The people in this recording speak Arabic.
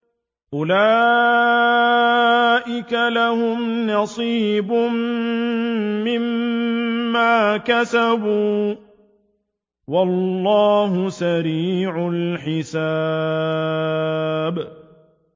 أُولَٰئِكَ لَهُمْ نَصِيبٌ مِّمَّا كَسَبُوا ۚ وَاللَّهُ سَرِيعُ الْحِسَابِ